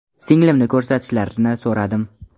Singlimni ko‘rsatishlarini so‘radim.